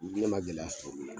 N kile ma gɛlɛya sɔrɔ miu na